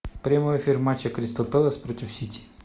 прямой эфир матча кристал пэлас против сити